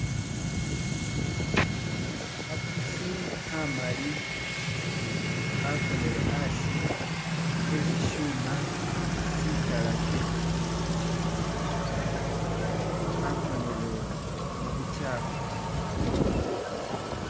Kha pusi khamali khakonele asi esisyuma sitalake, khakonele mu buchafu